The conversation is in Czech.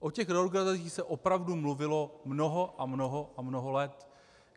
O těch reorganizacích se opravdu mluvilo mnoho a mnoho a mnoho let.